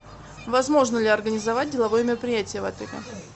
возможно ли организовать деловое мероприятие в отеле